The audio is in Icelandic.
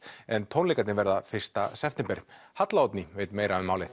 en tónleikarnir verða fyrsta september halla Oddný veit meira um málið